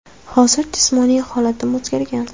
Hozir jismoniy holatim o‘zgargan.